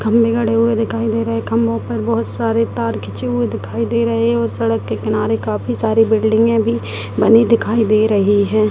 खंभे गड़े हुए दिखाई दे रहे हैं खभों पे बहुत सारे तार खींचे दिखाई दे रहे और सड़क के किनारे काफी सारे बिल्डिंगे भी बनी हुई दिखाई दे रही है।